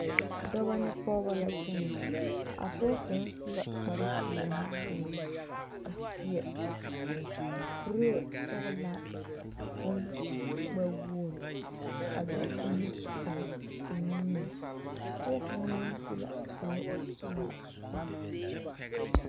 Dɔba ne pɔgeba la kyɛnɛ a pɔge kaŋ su la kpar zeɛ nuwoore a seɛ kuree sɔgelaa bon gbɛ woore a de nu page ʣ nimie pɔge kaŋ meŋ su la kpar pelaa poɔ